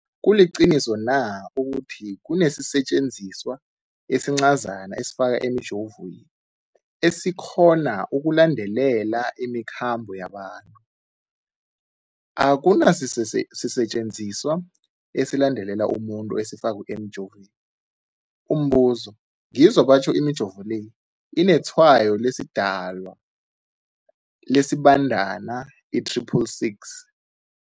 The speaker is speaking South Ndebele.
kuliqiniso na ukuthi kunesisetjenziswa esincazana esifakwa emijovweni, esikghona ukulandelela imikhambo yabantu? Akuna sisetjenziswa esilandelela umuntu esifakwe emijoveni. Umbuzo, ngizwa batjho imijovo le inetshayo lesiDalwa, lesiBandana i-666.